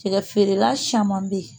Cɛkɛ feerela caman bɛ yen